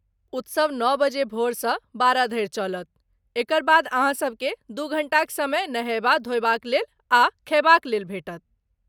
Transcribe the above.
उत्सव नओ बजे भोरसँ बारह धरि चलत, एकर बाद अहाँसबकेँ दू घण्टाक समय नहयबा धोयबाक लेल आ खयबाक लेल भेटत।